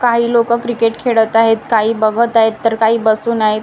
काही लोकं क्रिकेट खेळत आहेत. काही बघत आहेत तर काही बसून आहेत.